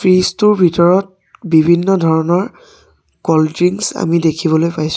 fridge টোৰ ভিতৰত বিভিন্ন ধৰণৰ কল্ড দৃংছ আমি দেখিবলৈ পাইছোঁ